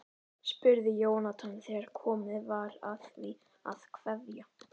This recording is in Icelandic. spurði Jónatan þegar komið var að því að kveðja.